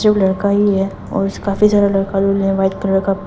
जो लड़का ही है और काफी ज्यादा लड़का व्हाइट कलर का--